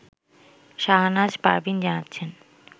শাহনাজ পারভীন জানাচ্ছেন